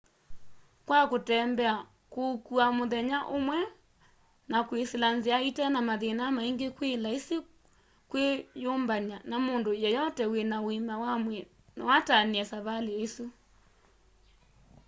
kwa kũtembea kũũkũa mũthenya ũmwe na kwisila nzia itena mathĩna maĩngĩ kwĩ laisi kwĩ yũmbanya na mũndũ yeyote wĩna ũĩma wa mwĩĩ no atanĩe savalĩ ĩsũ